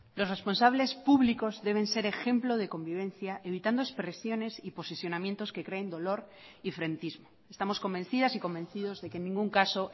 los responsables públicos deben ser ejemplo de convivencia evitando expresiones y posicionamientos que creen dolor y frentismo estamos convencidas y convencidos de que en ningún caso